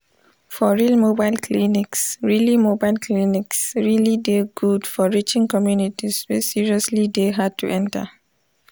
for real mobile clinics really mobile clinics really dey good for reaching communities wey seriously dey hard to enter.